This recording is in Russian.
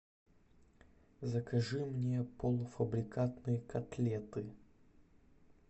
закажи мне полуфабрикатные котлеты